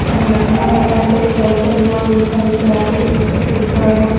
पहला पिना हुआ सेट पे कार्यक्रया और एक खारी खराब हो गया है इसको सही कर रहे है ।